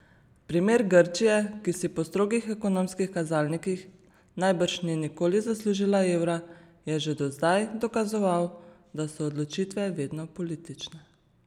Primer Grčije, ki si po strogih ekonomskih kazalnikih najbrž ni nikoli zaslužila evra, je že do zdaj dokazoval, da so odločitve vedno politične.